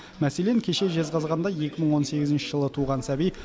мәселен кеше жезқазғанда екі мың он сегізінші жылы туған сәби